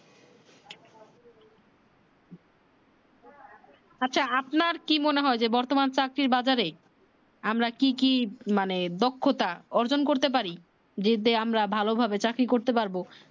আচ্ছা আপনার কি মনে হয় যে বর্তমান চাকরি এর বাজারে আমরা কি কি মানে দক্ষতা অর্জন করতে পারি আমরা ভালো ভাবে চাকরি করতে পারব